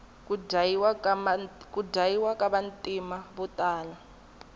ku dyayiwa ka vantima votala